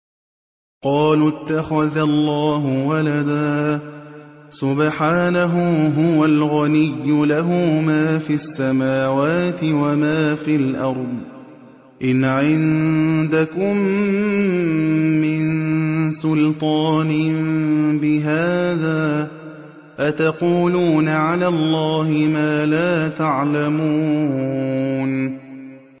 قَالُوا اتَّخَذَ اللَّهُ وَلَدًا ۗ سُبْحَانَهُ ۖ هُوَ الْغَنِيُّ ۖ لَهُ مَا فِي السَّمَاوَاتِ وَمَا فِي الْأَرْضِ ۚ إِنْ عِندَكُم مِّن سُلْطَانٍ بِهَٰذَا ۚ أَتَقُولُونَ عَلَى اللَّهِ مَا لَا تَعْلَمُونَ